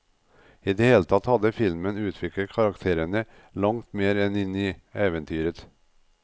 I det hele tatt hadde filmen utviklet karakterene langt mer enn i eventyret.